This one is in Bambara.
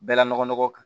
Bɛɛla nɔgɔ kan